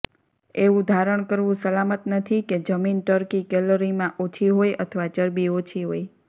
એવું ધારણ કરવું સલામત નથી કે જમીન ટર્કી કેલરીમાં ઓછી હોય અથવા ચરબી ઓછી હોય